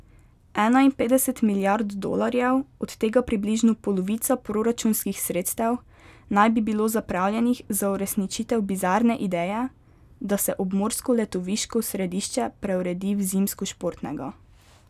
Enainpetdeset milijard dolarjev, od tega približno polovica proračunskih sredstev, naj bi bilo zapravljenih za uresničitev bizarne ideje, da se obmorsko letoviško središče preuredi v zimskošportnega.